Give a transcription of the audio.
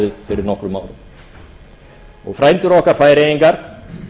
fyrir nokkrum árum og frændur okkar færeyingar